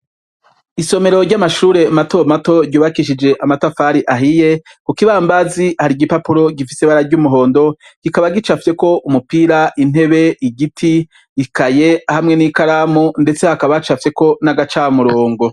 Isomero ry' amashure mato mato ryubakishije amatafari ahiye, ku kibambazi hari igipapuro, gifise ibara ry' umuhondo, kikaba gicafyeko umupira, intebe, igiti, ikaye hamwe n' ikaramu, ndetse hakaba hacafyeko n' agacamurongo .